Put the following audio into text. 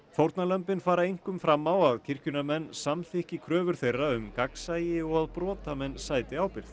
fórnarlömbin fara einkum fram á að kirkjunnar menn samþykki kröfur þeirra um gagnsæi og að brotamenn sæti ábyrgð